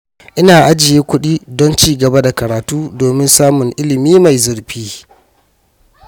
Ina ajiye kudi don ci gaba da karatu domin samun ilimi mai zurfi.